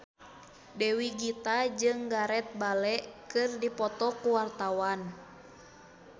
Dewi Gita jeung Gareth Bale keur dipoto ku wartawan